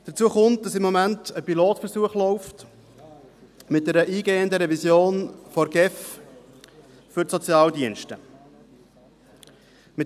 Hinzu kommt, dass im Moment ein Pilotversuch mit einer eingehenden Revision der GEF für die Sozialdienste läuft.